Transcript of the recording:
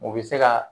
U bɛ se ka